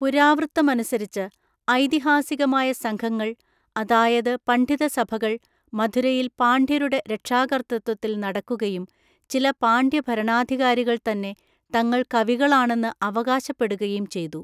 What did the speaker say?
പുരാവൃത്തമനുസരിച്ച്, ഐതിഹാസികമായ സംഘങ്ങൾ, അതായത് പണ്‌ഡിതസഭകൾ, മധുരയിൽ പാണ്ഡ്യരുടെ രക്ഷാകര്‍തൃത്വത്തില്‍ നടക്കുകയും ചില പാണ്ഡ്യഭരണാധികാരികൾതന്നെ തങ്ങള്‍ കവികളാണെന്ന് അവകാശപ്പെടുകയും ചെയ്തു.